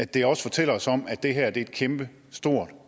det også fortæller os om at det her er et kæmpe stort